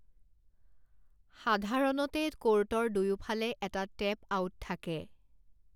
সাধাৰণতে ক'ৰ্টৰ দুয়োফালে এটা টেপ আউট থাকে।